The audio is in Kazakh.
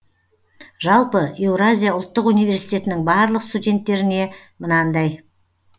жалпы еуразия ұлттық университетінің барлық студенттеріне мынандай